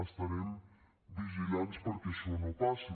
estarem vigilants perquè això no passi